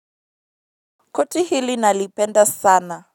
Koti hili nalipenda sana.